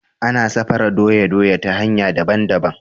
Ana sarafa doya doya ta hanya daban daban